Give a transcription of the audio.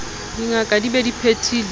dingaka di be di phethile